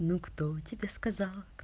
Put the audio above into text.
ну кто тебе сказал